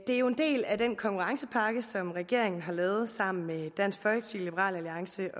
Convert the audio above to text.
er jo en del af den konkurrencepakke som regeringen har lavet sammen med dansk folkeparti liberal alliance